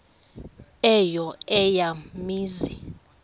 eyo eya mizi